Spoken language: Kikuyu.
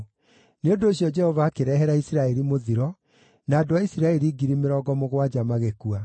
Nĩ ũndũ ũcio Jehova akĩrehera Isiraeli mũthiro, na andũ a Isiraeli 70,000 magĩkua.